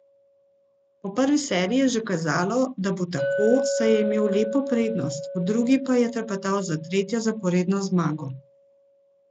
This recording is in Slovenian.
Po prvi seriji je že kazalo, da bo tako, saj je imel lepo prednost, v drugi pa je trepetal za tretjo zaporedno zmago.